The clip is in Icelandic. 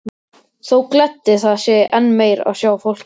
Þó gleddi það sig enn meir að sjá fólkið.